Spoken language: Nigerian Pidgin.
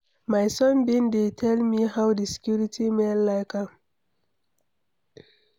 My son bin dey tell me how the security men like am.